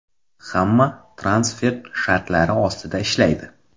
Hamma transfert shartlari ostida ishlaydi.